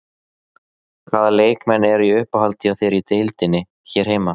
Hvaða leikmenn eru í uppáhaldi hjá þér í deildinni hér heima?